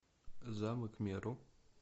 замок меру